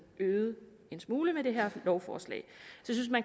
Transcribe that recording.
øget en smule med det her lovforslag så